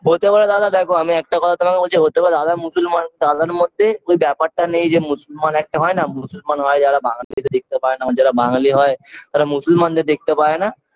হতে পারে দাদা দেখো আমি একটা কথা তোমাকে বলছি হতে পারে দাদা মুসলমান দাদার মতে ওই ব্যাপারটা নেই যে মুসলমান একটা হয় না মুসলমান হয় যারা হয় বাঙ্গালীদের দেখতে পারেনা আবার যারা বাঙালি হয় তারা মুসলমানদের দেখতে পারেনা